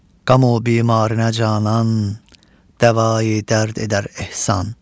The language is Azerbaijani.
Qam o bimarinə canan, dəvayi dərd edər ehsan.